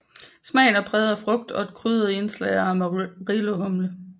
Smagen er præget af frugt og et krydret indslag af Amarillo humle